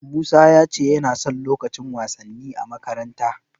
Musa ya ce yana son lukacin wasanni a makaranta.